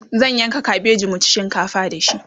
zan yanka kabeji mu ci shinkafa da shi